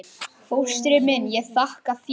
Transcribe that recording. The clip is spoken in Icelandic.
Fóstri minn, ég þakka þér.